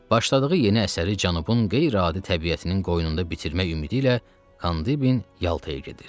Başladığı yeni əsəri Cənubun qeyri-adi təbiətinin qoynunda bitirmək ümidi ilə Kandibin Yaltaya gedir.